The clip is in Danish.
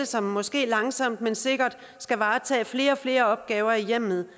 som måske langsomt men sikkert skal varetage flere og flere opgaver i hjemmet